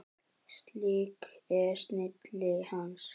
Slík er snilli hans.